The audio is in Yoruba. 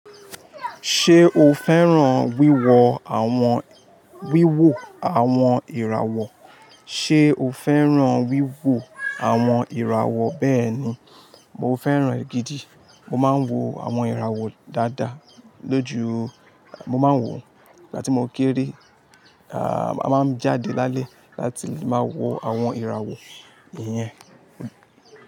Ṣé o fẹ́ràn wíwo àwọn wíwò àwọn ìràwọ̀? Ṣé o fẹ́ràn wíwò àwọn ìràwọ̀ bẹ́ẹ̀ ni, mo fẹ́ràn è gídì. Mo máa ń wo àwọn ìràwọ̀ dáadáa lójú. Mo máa ń wò ó ìgbà tí mo kéré. A máa ń jáde lálẹ́ láti máa wo àwọn ìràwọ̀ ìyẹn.